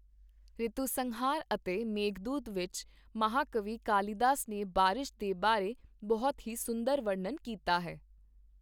ਰਿਤੂਸੰਹਾਰ ਅਤੇ ਮੇਘਦੂਤ ਵਿੱਚ ਮਹਾਕਵੀ ਕਾਲੀਦਾਸ ਨੇ ਬਾਰਿਸ਼ ਦੇ ਬਾਰੇ ਬਹੁਤ ਹੀ ਸੁੰਦਰ ਵਰਨਣ ਕੀਤਾ ਹੈ।